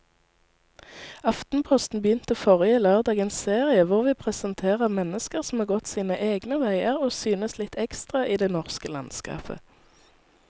Aftenposten begynte forrige lørdag en serie hvor vi presenterer mennesker som har gått sine egne veier og synes litt ekstra i det norske landskapet.